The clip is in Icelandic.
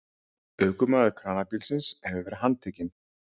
Ökumaður kranabílsins hefur verið handtekinn